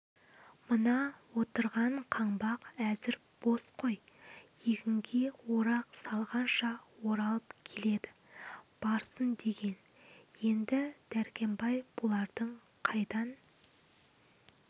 мына отырған қаңбақ әзір бос қой егінге орақ салғанша оралып келеді барсын деген енді дәркембай бұлардың қайдан